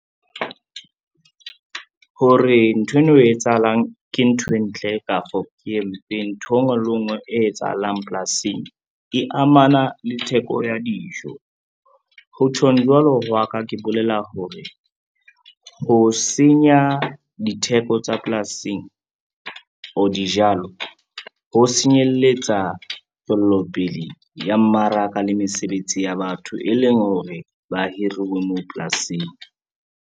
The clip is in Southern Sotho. Hore ntho eno e etsahalang ke nthwe ntle kafo, ke e mpe ntho e ngwe le e ngwe e etsahalang polasing e amana le theko ya dijo. Ho tjhong jwalo hwa ka, ke bolela hore ho senya ditheko tsa polasing or dijalo ho senyelletsa tswellopele ya mmaraka le mesebetsi ya batho, e leng hore ba hiruwe moo polasing.